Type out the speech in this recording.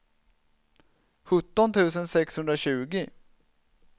sjutton tusen sexhundratjugo